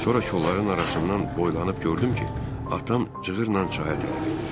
Sonra kolları arasından boylanıb gördüm ki, atam cığırla çaya tərəf enir.